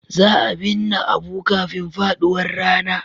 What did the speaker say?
Za a binne Abu kafin faduwar rana.